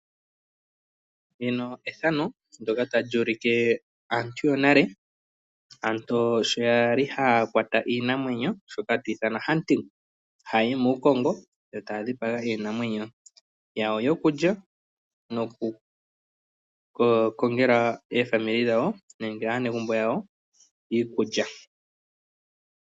Aantu yonale okwali haya kwata iinamwenyo, hayayi muukongo yo raya dhipaga iinamwenyo yawo yokulya noku kongela aanegumbo lyawo iikulya.